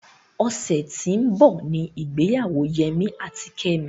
Ọ̀sẹ̀ ti ó ń bọ̀ ní ìgbéyàwó Yẹmí àti Kẹ́mi.